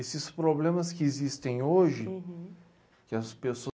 Esses problemas que existem hoje, que as pessoas